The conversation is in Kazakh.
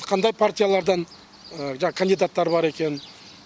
қандай партиялардан жаңағы кандидаттар бар екенін